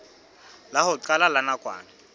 la ho qala la nakwana